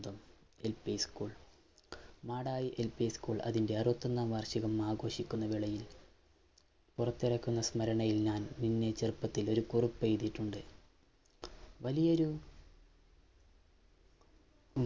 LP ഉ School Madayi LP ഉ School അതിൻറെ അറുത്തൊന്നാം വാർഷികം ആഘോഷിക്കുന്ന വേളയിൽ പുറത്തിറക്കുന്ന സ്മരണയിൽ ഞാൻ ചേർത്തിട്ട് ഒരു കുറിപ്പെയ്‌തിട്ടുണ്ട് വലിയൊരു